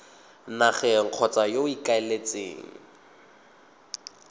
nageng kgotsa yo o ikaeletseng